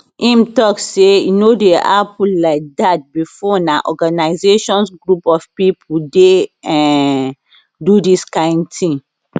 im tok say e no dey happun like dat bifor na organisations group of pipo dey um do dis kain tin